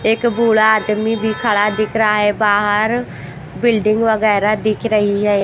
एक बूढ़ा आदमी भी खड़ा दिख रहा है बाहर बिल्डिंग वगैरह दिख रही है।